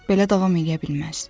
Belə davam eləyə bilməz.